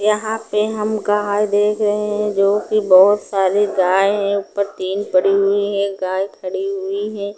यहां पे हम गाय देख रहे हैं जोकि बहुत सारी गाय हैं। ऊपर तीन पड़ी हुई हैं। गाय खड़ी हुई हैं।